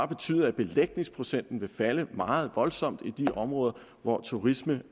betyde at belægningsprocenten vil falde meget voldsomt i de områder hvor turismen